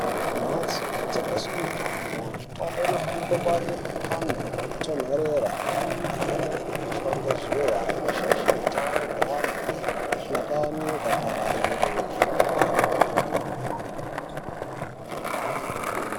Mukati membatso inotengeswe mitombo ,mitombo inofanira kungwarirwa pantu panotonhorera imweni haifaniri kupishwa ngezuva inoshaishe utano hweantu muhlakani ukaparire.